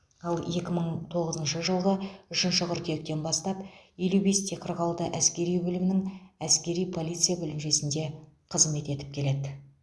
ал екі мың тоғызыншы жылғы үшінші қыркүйектен бастап елу бесте қырық алты әскери бөлімінің әскери полиция бөлімшесінде қызмет етіп келеді